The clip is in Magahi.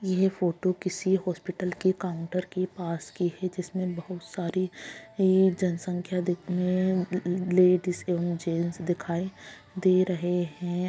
ये फोटो किसी हॉस्पिटल के काउंटर के पास की है जिसमे बहुत सारे ये जनसंख्या दिख लेडिस एवं जेंट्स दिखाई दे रहे हैं ।